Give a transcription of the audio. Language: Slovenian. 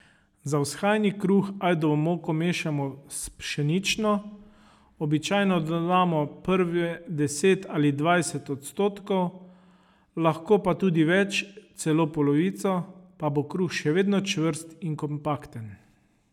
Za vzhajani kruh ajdovo moko mešamo s pšenično, običajno dodamo prve deset ali dvajset odstotkov, lahko pa tudi več, celo polovico, pa bo kruh še vedno čvrst in kompakten.